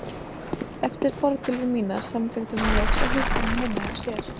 Eftir fortölur mínar samþykkti hún loks að hitta mig heima hjá sér.